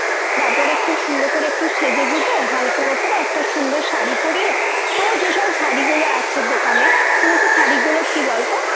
তারপরে খুব সুন্দর করে একটু সেজে গুঁজে হালকার উপরে একটু সুন্দর শাড়ি পড়িয়ে তোর যেসব শাড়িগুলো আছে। দোকানে সমস্ত শাড়িগুলো কি বলতো